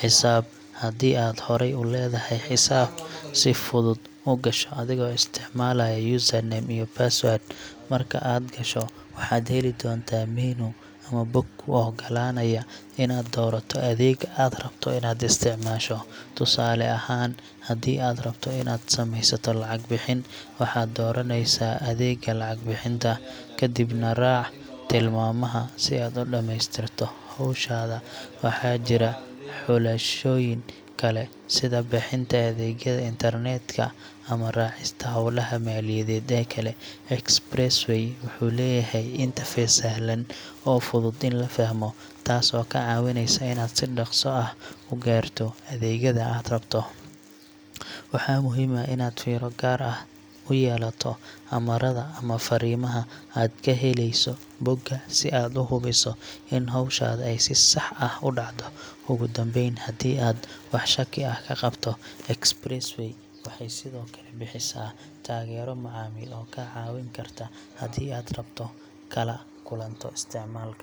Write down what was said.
xisaab. Haddii aad horey u leedahay xisaab, si fudud u gasho adigoo isticmaalaya username iyo passwordcs]. Marka aad gasho, waxaad heli doontaa menu ama bog kuu oggolaanaya inaad doorato adeegga aad rabto inaad isticmaasho. Tusaale ahaan, haddii aad rabto inaad sameysato lacag-bixin, waxaad dooraneysaa adeegga lacag bixinta, kadibna raac tilmaamaha si aad u dhammaystirto hawshaada. Waxaa jira xulashooyin kale sida bixinta adeegyada internetka, ama raacista hawlaha maaliyadeed ee kale. Express Way wuxuu leeyahay interface sahlan oo fudud in la fahmo, taasoo kaa caawinaysa inaad si dhaqso ah u gaarto adeegyada aad rabto. Waxaa muhiim ah inaad fiiro gaar ah u yeelato amarada ama fariimaha aad ka helayso bogga si aad u hubiso in hawshaada ay si sax ah u dhacdo. Ugu dambeyn, haddii aad wax shaki ah ka qabto, Express Way waxay sidoo kale bixisaa taageero macaamiil oo kaa caawin karta haddii aad dhibaato kala kulanto isticmaalka.